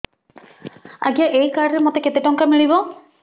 ଆଜ୍ଞା ଏଇ କାର୍ଡ ରେ ମୋତେ କେତେ ଟଙ୍କା ମିଳିବ